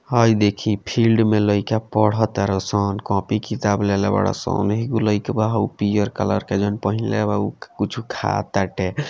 हई देखी फील्ड में लइका पढ़ तारसन कॉपी किताब ले ले बारसन एगो लइकवा पियर कलर के जोवन पहिनले बा उ कुछ खा टाटे।